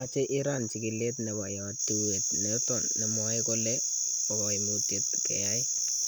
Mache Iran chikileet nebo yautiet noto nemwae kole bo kaimutyeet keyai.